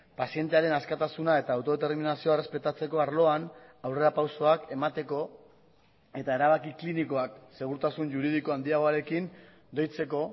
pazientearen askatasuna eta autodeterminazioa errespetatzeko arloan aurrerapausoak emateko eta erabaki klinikoak segurtasun juridiko handiagoarekin deitzeko